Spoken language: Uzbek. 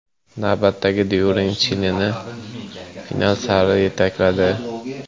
Navbatdagi during Chilini final sari yetakladi.